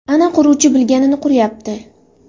Ana quruvchi bilganini quryapti.